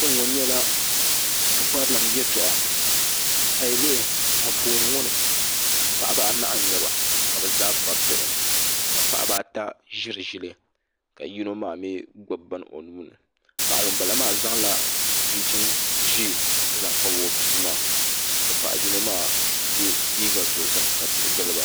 Kpɛŋŋɔ nyɛla pukparilim yɛltɔɣa a yi lihi Anfooni ŋɔ ni paɣaba anahi n nyɛba ka bi zaa kpabi bihi ka paɣaba ata ʒiri ʒili ka yino maa mii gbubi bini o nuuni paɣa ŋunbala maa zaŋla chinchin ʒiɛ n zaŋ kpabi o bia maa ka paɣa yino maa yɛ liiga ʒiɛ ka tihi giliba